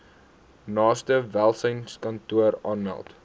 naaste welsynskantoor aanmeld